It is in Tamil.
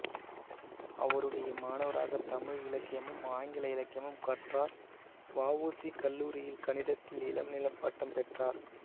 அவருடைய மாணவராகத் தமிழ் இலக்கியமும் ஆங்கில இலக்கியமும் கற்றார் வ உ சி கல்லூரியில் கணிதத்தில் இளநிலைப் பட்டம் பெற்றார்